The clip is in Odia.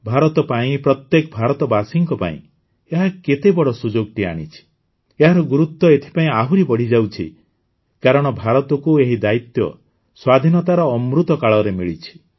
ଭାରତ ପାଇଁ ପ୍ରତ୍ୟେକ ଭାରତବାସୀ ପାଇଁ ଏହା କେତେ ବଡ଼ ସୁଯୋଗଟିଏ ଆଣିଛି ଏହାର ଗୁରୁତ୍ୱ ଏଥିପାଇଁ ଆହୁରି ବଢ଼ିଯାଉଛି କାରଣ ଭାରତକୁ ଏହି ଦାୟିତ୍ୱ ସ୍ୱାଧୀନତାର ଅମୃତକାଳରେ ମିଳିଛି